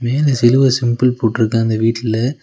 இதுல சிலுவ சிம்பில் போட்ருக்கு அந்த வீட்ல.